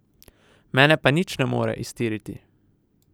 Mene pa nič ne more iztiriti.